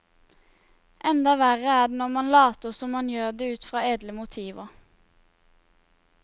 Enda verre er det når man later som man gjør det ut fra edle motiver.